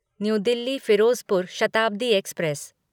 new Delhi Firozpur Shatabdi express